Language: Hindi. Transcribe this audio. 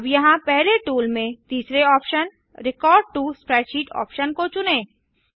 अब यहाँ पहले टूल में तीसरे option record to spreadsheet option को चुनें